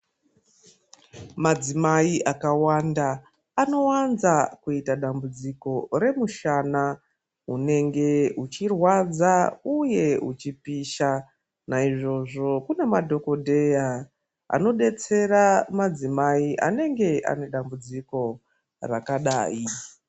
Madzimai akawanda anowanza kuita dambudziko remushana unenge uchirwadza uye uchipisha, naizvozvo kune madhokodheya anodetsera madzimai anenge ane dambudziko rakadai.